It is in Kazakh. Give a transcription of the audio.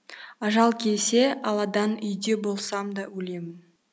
ажал келсе алладан үйде болсам да өлемін